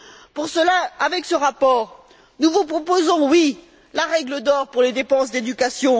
Pour cela, avec ce rapport, nous vous proposons, oui, la règle d'or pour les dépenses d'éducation